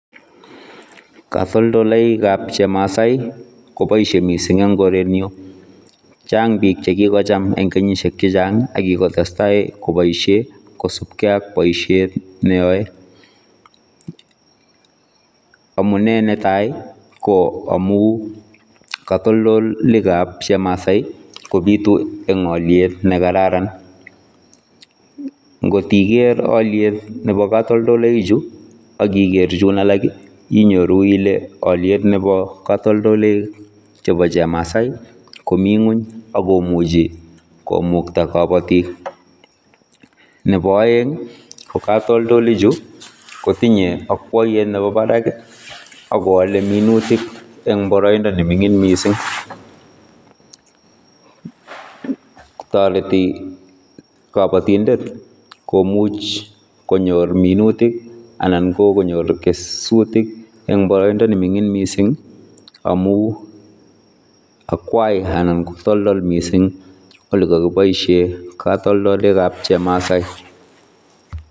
Katoldoloikab chemasai koboishe mising en korenyun, Chang biik chekikocham en kenyishek chechang ak ko kikotestai koboishen kosupkei ak boishet neyoe, amunee netai ko amuun katoldolikab chemasai kobitu eng' oliet nekararan, ngot iker oliet Nebo kotoldoloik chuu ak iker chuun alak inyoru ilee kotoldoloik cheboo chemasai komii ngweny ak komuchi komukta kobotik, nebo oeng ko katoldoli chuu kotinye okwoyet nebo barak ak kowole minutik en boroindo neming'in mising, kotoreti kobotindet komuch konyor minutik anan ko konyor kesutik en boroindo neming'in mising amuu akwai anan ko toltol mising olee kokiboishen katoldolikab chemasai.